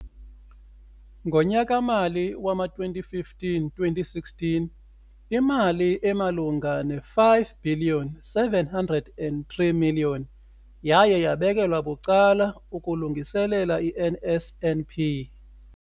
Ngonyaka-mali wama-2015, 16, imali emalunga neebhiliyoni zeerandi eziyi-5 703 yaye yabekelwa bucala ukulungiselela i-NSNP.